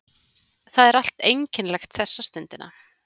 Það er allt einkennilegt þessa stundina.